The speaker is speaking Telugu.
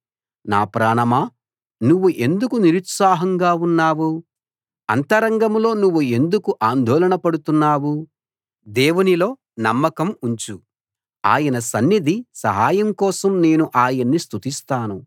నా ప్రాణమా నువ్వు ఎందుకు నిరుత్సాహంగా ఉన్నావు అంతరంగంలో నువ్వు ఎందుకు ఆందోళన పడుతున్నావు దేవునిలో నమ్మకం ఉంచు ఆయన సన్నిధి సహాయం కోసం నేను ఆయన్ని స్తుతిస్తాను